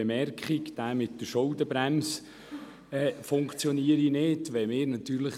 Es wurde gesagt, die Schuldenbremse würde so nicht greifen.